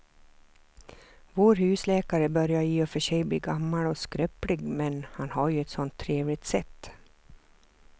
Vår husläkare börjar i och för sig bli gammal och skröplig, men han har ju ett sådant trevligt sätt!